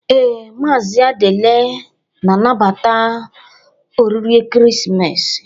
Ee, Maazị Adiele na-anabata oriri ekeresimesi.